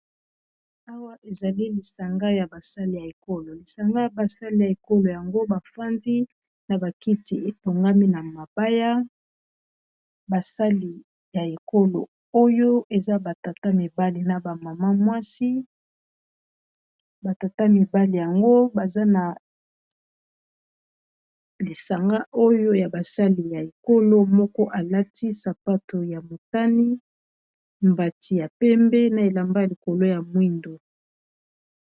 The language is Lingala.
Awa ezali lisanga ya basali ya ekolo lisanga ya basali ya ekolo yango bafandi na ba kiti etongami na mabaya basali ya ekolo oyo eza ba tata mibali na ba mama mwasi ba tata mibali yango baza na lisanga oyo ya basali ya ekolo moko alati sapato ya motani mbati ya pembe na elamba ya likolo ya mwindo.